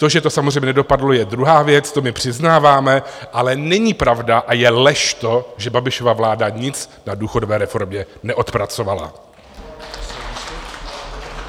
To, že to samozřejmě nedopadlo, je druhá věc, to my přiznáváme, ale není pravda a je lež to, že Babišova vláda nic na důchodové reformě neodpracovala.